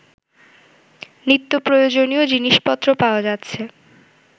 নিত্যপ্রয়োজনীয় জিনিসপত্র পাওয়া যাচ্ছে